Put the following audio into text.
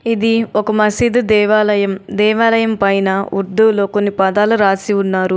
ఇది ఒక మసీదు దేవాలయం. దేవాలయం పైన ఉర్దూలో కొన్ని పదాలు రాసి ఉన్నారు.